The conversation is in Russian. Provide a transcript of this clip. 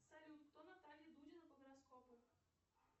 салют кто наталья дудина по гороскопу